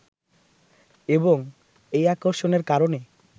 এবং এই আকর্ষণের কারণে